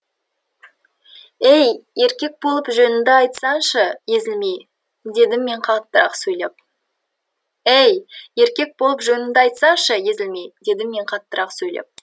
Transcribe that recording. ей еркек болып жөніңді айтсаңшы езілмей дедім мен қаттырақ сөйлеп ей еркек болып жөніңді айтсаңшы езілмей дедім мен қаттырақ сөйлеп